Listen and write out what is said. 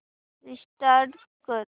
restart कर